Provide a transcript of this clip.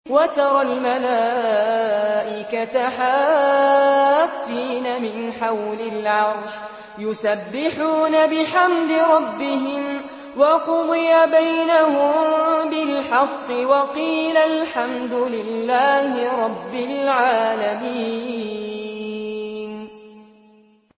وَتَرَى الْمَلَائِكَةَ حَافِّينَ مِنْ حَوْلِ الْعَرْشِ يُسَبِّحُونَ بِحَمْدِ رَبِّهِمْ ۖ وَقُضِيَ بَيْنَهُم بِالْحَقِّ وَقِيلَ الْحَمْدُ لِلَّهِ رَبِّ الْعَالَمِينَ